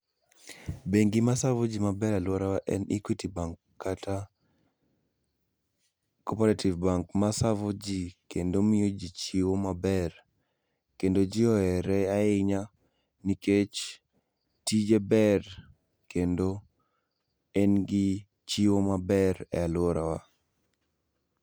Bengi ma savo jii maber e aluora wa en Equity bank kata cooperative bank ma savo jii kendo miyo ji chiwo maber, kendo jii ohere ahinya nikech tije ber kendo en gi chiwo maber e aluorawa